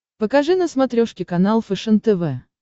покажи на смотрешке канал фэшен тв